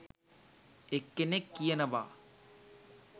එක්කෙනෙක් කියනවා